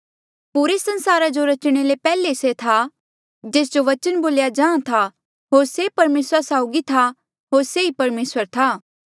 पुरे संसारा जो रचणे ले पैहले से था जेस जो बचन बोल्या जाहाँ था होर से परमेसरा साउगी था होर से ई परमेसर था